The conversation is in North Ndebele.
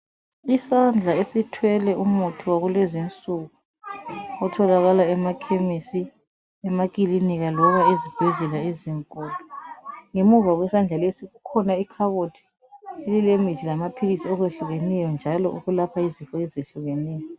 Isandla esithwele umuthi wakulezinsuku otholakala emakhemisi, emakilinika loba ezibhedlela ezinkulu ngemuva kwesandla lesi kukhona ikhabothi lile mithi lamaphilisi okwehlukeneyo njalo okwelapha izifo ezehlukeneyo.